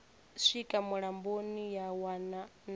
swika mulamboni ya wana na